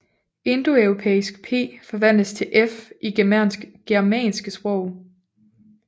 Indoeuropæisk p forvandles til f i germanske sprog